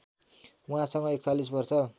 उहाँसँग ४१ वर्ष